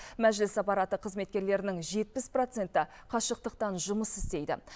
мәжіліс аппараты қызметкерлерінің жетпіс проценті қашықтықтан жұмыс істейді